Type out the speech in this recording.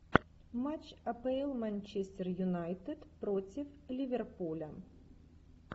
матч апл манчестер юнайтед против ливерпуля